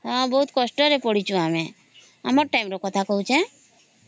ବହୁତ କଷ୍ଟରେ ପଡ଼ିଛୁ ଆମ ଟାଇମ ର କଥା କହୁଚୁ